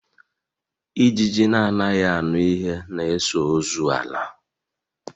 Ijiji na anaghị aṅụ ihe na eso ọzọ ala